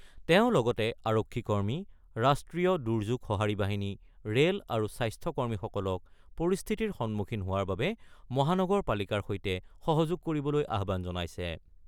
তেওঁ লগতে আৰক্ষী কৰ্মী, ৰাষ্ট্ৰীয় দুৰ্যোগ সঁহাৰি বাহিনী, ৰেল আৰু স্বাস্থ্য কৰ্মীসকলক পৰিস্থিতিৰ সন্মুখীন হোৱাৰ বাবে মহানগৰপালিকাৰ সৈতে সহযোগ কৰিবলৈ আহ্বান জনাইছে।